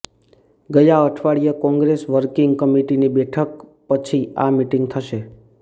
ગયા અઠવાડિયે કોંગ્રેસ વર્કિગ કમિટીની બેઠક પછી આ મીટિંગ થશે